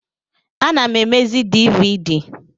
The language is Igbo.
Ana m emezi dịvịdị